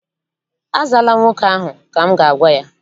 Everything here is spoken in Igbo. Azaala nwoke ahụ! Ka m ga-agwa ya.